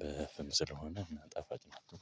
በፍም ስለሆነ ጣፋጭ ናቸው።